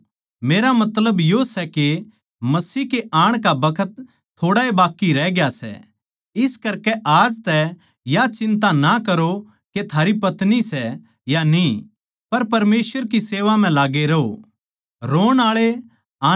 हे बिश्वासी भाईयो मेरा मतलब यो सै के मसीह के आण का बखत थोड़ा ए बाक्की रह गया सै इस करकै आज तै या चिन्ता ना करो के थारी पत्नी सै या न्ही पर परमेसवर की सेवा म्ह लाग्गे रहों